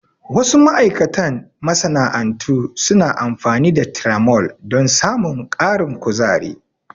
Wasu ma'aikatan masana'antu suna amfani da tiramol don samun ƙarin kuzari.